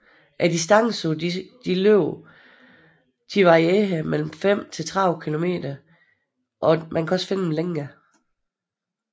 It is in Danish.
Distancen på disse løb varierer på mellem 5 til 30 km og kan også findes længere